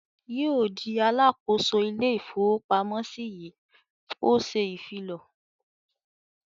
"Yóò di alákòóso ilé-ìfowópamọ́sí yìí!" Ó ṣè ìfilọ.